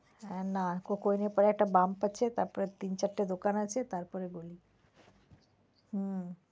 হ্যাঁ, না coke oven এর পরে একটা bump আছে তারপরে তিন চারটে দোকান আছে তারপরে গলি। হুম।